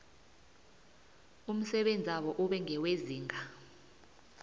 umsebenzabo ube ngewezinga